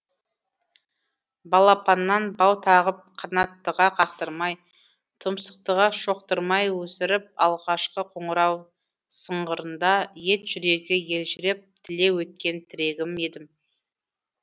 балапаннан бау тағып қанаттыға қақтырмай тұмсықтыға шоқтырмай өсіріп алғашқы қоңырау сыңғырында ет жүрегі елжіреп тілеу еткен тірегі едім